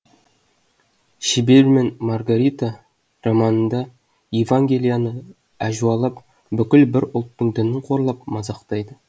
шебер мен маргарита романында да евангелияны әжуалап бүкіл бір ұлттың дінін қорлап мазақтайды